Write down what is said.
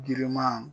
Giriman